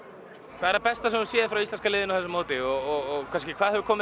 hvað er það besta sem þú hefur séð frá íslenska liðinu á þessu móti og hvað hefur komið